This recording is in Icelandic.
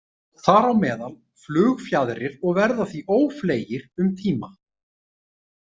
Þar á meðal flugfjaðrir og verða því ófleygir um tíma.